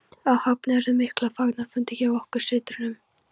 Á Höfn urðu miklir fagnaðarfundir hjá okkur systrunum.